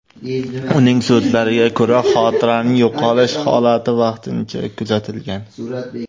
Uning so‘zlariga ko‘ra, xotiraning yo‘qolish holati vaqtincha kuzatilgan.